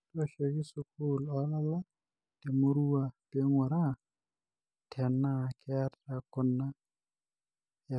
toshoki sukul olala temurua pinguraa tena keeta kuna yasat.